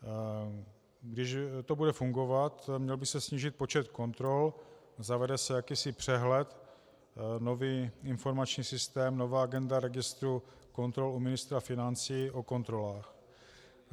Když to bude fungovat, měl by se snížit počet kontrol, zavede se jakýsi přehled, nový informační systém, nová agenda registru kontrol u ministra financí o kontrolách.